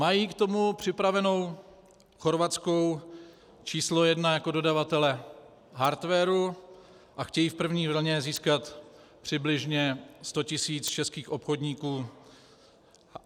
Mají k tomu připravenu chorvatskou číslo jedna jako dodavatele hardwaru a chtějí v první vlně získat přibližně sto tisíc českých obchodníků.